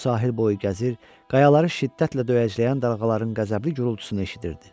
O sahil boyu gəzir, qayaları şiddətlə döyəcləyən dalğaların qəzəbli gurultusunu eşidirdi.